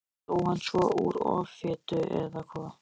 Dó hann svo úr offitu, eða hvað?